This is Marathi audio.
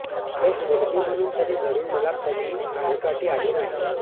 एक मुलगी म्हणून तरी घरून मला कधी आडकाठी आली नाही